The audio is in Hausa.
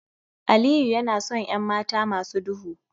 Aliyu yana son 'yan mata masu duhu